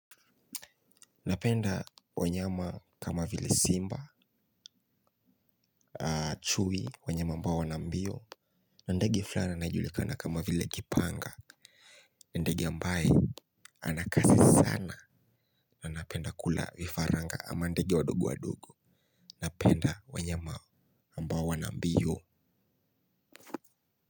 Napenda wanyama kama vile Simba. Chui wanyama mbao wana mbio. Ndege flani anajulikana kama vile kipanga. Ndege ambaye ana kasi sana ndege ambaye anakasi sana na anapenda kula vifaranga ama ndege wadogo wadogo. Napenda wanyama ambao wana mbio.